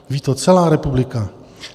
Ví to celá republika.